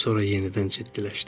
Sonra yenidən ciddiləşdi.